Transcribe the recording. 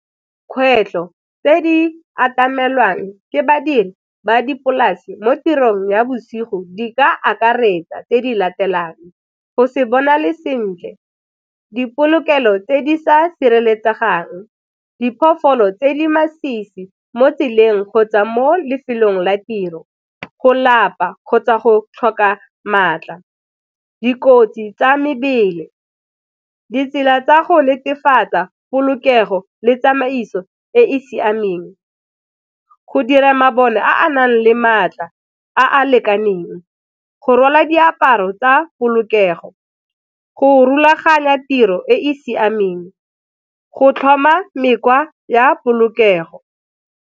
Kgwetlho tse di atamelang ke badiri ba dipolase mo tirong ya bosigo di ka akaretsa tse di latelang, go se bona le sentle, dipolokelo tse di sa sireletsegang, diphologolo tse di masisi mo tseleng, kgotsa mo lefelong la tiro, go lapa kgotsa go tlhoka maatla, dikotsi tsa mebele, ditsela tsa go netefatsa polokego le tsamaiso e e siameng go dira mabone a nang le maatla a a lekaneng, go rwala diaparo tsa polokego, go rulaganya tiro e e siameng, go tlhoma mekgwa ya polokego.